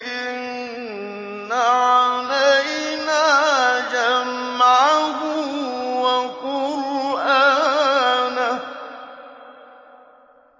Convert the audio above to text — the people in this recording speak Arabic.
إِنَّ عَلَيْنَا جَمْعَهُ وَقُرْآنَهُ